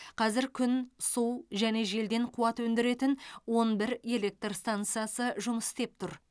қазір күн су және желден қуат өндіретін он бір электр стансасы жұмыс істеп тұр